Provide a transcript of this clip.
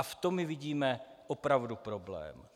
A v tom my vidíme opravdu problém.